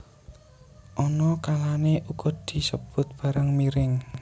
Ana kalané uga disebut barang miring